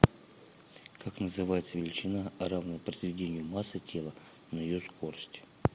как называется величина равная произведению массы тела на ее скорость